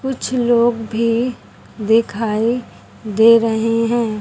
कुछ लोग भी दिखाई दे रहे हैं।